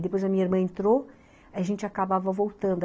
E depois a minha irmã entrou, a gente acabava voltando.